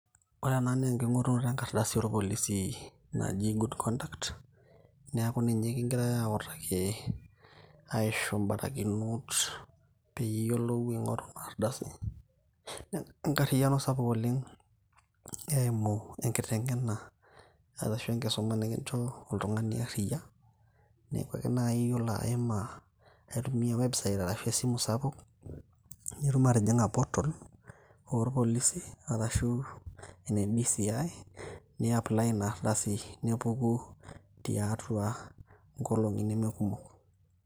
Ore ena naa enking'orunoto enkardasi orpolisi naji good conduct. Neeku ninye kigirai autaki aisho barakinot piyiolou aing'oru inardasi. Enkarriyiano sapuk oleng, eimu enkiteng'ena arashu enkisuma nikinchoo oltung'ani arriyia. Neeku ake nai yiolo aima, aitumia website ashu esimu sapuk, nitum atijing'a portal orpolisi, arashu ene DCI, ni apply inardasi, nepuku tiatua inkolong'i nemekumok.